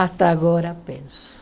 Até agora penso.